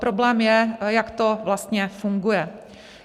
Problém je, jak to vlastně funguje.